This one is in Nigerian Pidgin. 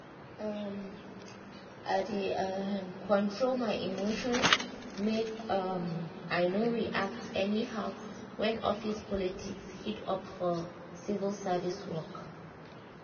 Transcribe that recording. um i dey um control my emotions make um i no react anyhow when office politics heat up for civil service work.